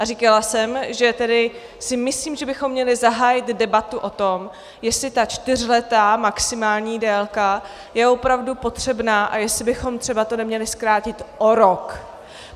A říkala jsem, že tedy si myslím, že bychom měli zahájit debatu o tom, jestli ta čtyřletá maximální délka je opravdu potřebná a jestli bychom třeba to neměli zkrátit o rok.